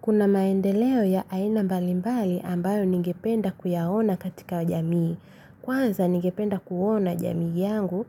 Kuna maendeleo ya aina mbalimbali ambayo ningependa kuyaona katika jamii. Kwanza ningependa kuona jamii yangu